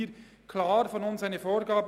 Aber so lautete unsere Vorgabe.